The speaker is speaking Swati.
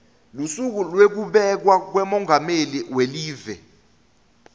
lusuku lwekubekwa kwamengameli welive